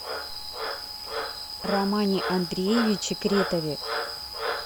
романе андреевиче кретове